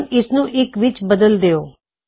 ਹੁਣ ਇਸਨੂੰ ਇੱਕ ਵਿੱਚ ਬਦਲ ਦਿਉ